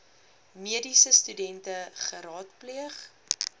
mediese studente geraadpleeg